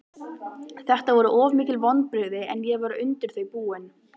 Þetta voru mikil vonbrigði en ég var undir þau búinn.